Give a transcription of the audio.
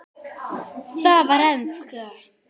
Það var enska.